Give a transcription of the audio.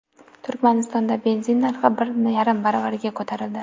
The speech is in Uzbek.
Turkmanistonda benzin narxi bir yarim baravarga ko‘tarildi.